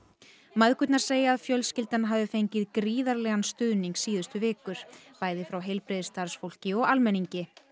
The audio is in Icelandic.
mæðgurnar segja að fjölskyldan hafi fengið gríðarlegan stuðning síðustu vikur bæði frá heilbrigðisstarfsfólki og almenningi